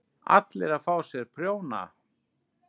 ALLIR AÐ FÁ SÉR PRJÓNA!